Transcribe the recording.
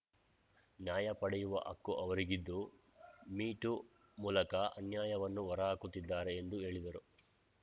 ನ್ಯಾಯ ಪಡೆಯುವ ಹಕ್ಕು ಅವರಿಗಿದ್ದು ಮೀ ಟೂ ಮೂಲಕ ಅನ್ಯಾಯವನ್ನು ಹೊರಹಾಕುತ್ತಿದ್ದಾರೆ ಎಂದು ಹೇಳಿದರು